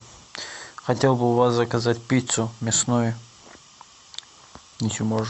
хотел бы у вас заказать пиццу мясную если можно